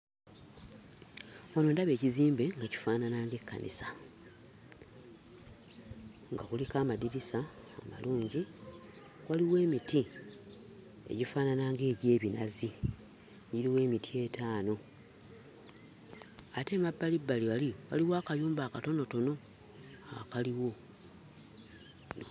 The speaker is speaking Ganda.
Wano ndaba ekizimbe nga kifaanana ng'ekkanisa, nga kuliko amadirisa amalungi. Waliwo emiti egifaanana ng'egy'ebinazi; giriwo emiti etaano. Ate emabbalibbali wali, waliwo akayumba akatonotono akaliwo.